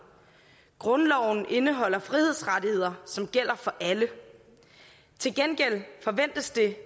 grundloven indeholder frihedsrettigheder som gælder for alle til gengæld forventes det